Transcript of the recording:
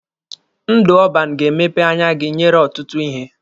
Ndụ ọban ga-emepe anya gị nyere ọtụtụ ihe.